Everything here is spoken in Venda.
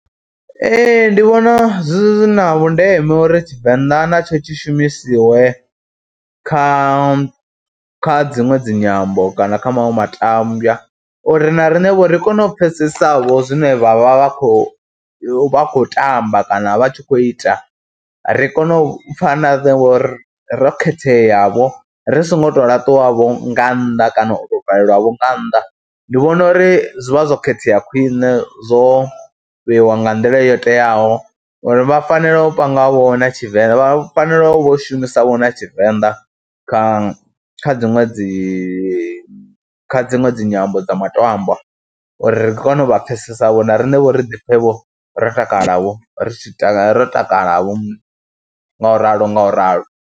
Ee ndi vhona zwi na vhundeme uri tTshivenḓa natsho tshi shumisiwe kha kha dziṅwe dzi nyambo kana kha maṅwe matambwa uri na riṋevho ri kone u pfhesesa vho zwine vha vha vha khou vha khou tamba kana vha tshi khou ita. Ri kone u pfha na ngori ro khethea vho, ri songo tou laṱwavho nga nnḓa kana u tou valelwavho nga nnḓa. Ndi vhona uri zwi vha zwo khethea khwiṋe zwo vheiwa nga nḓila yo teaho uri vha fanela u pangavho na Tshivenḓa, vha fanela u vha u shumisavho na Tshivenḓa kha kha dziṅwe dzi kha dziṅwe dzi nyambo dza maṱambwa uri ri kone u vha phfesesavho na riṋe vho ri ḓi pfhevho ro takala ri tshi ro takalavho ngauralo ngauralo.